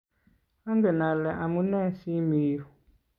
angen ale amunee si mii yu.